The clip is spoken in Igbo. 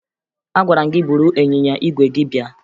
Agwara m gị buru ịnyịnya ígwè gị bịa!